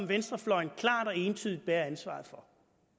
venstrefløjen klart og entydigt bærer ansvaret for